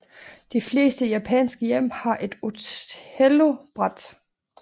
De fleste japanske hjem har et Othellobræt